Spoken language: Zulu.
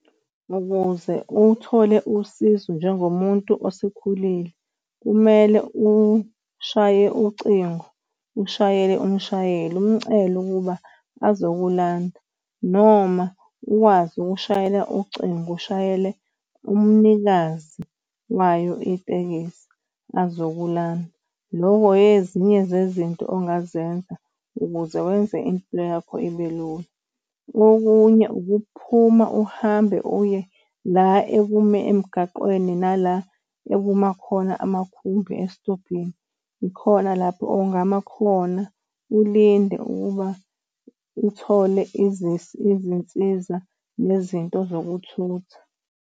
Ukuze uthole usizo njengomuntu osekhulile, kumele ushaye ucingo, ushayele umshayeli umcele ukuba azokulanda noma ukwazi ukushayela ucingo, ushayele umnikazi wayo itekisi azokulanda. Loko ezinye zezinto ongazenza ukuze wenze impilo yakho ibe lula, okunye ukuphuma uhambe uye la ekume emgaqweni nala ekuma khona amakhumbi esitobhini. Ikhona lapho ongama khona, ulinde ukuba uthole , izinsiza nezinto zokuthutha.